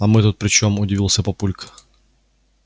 а мы тут при чем удивился папулька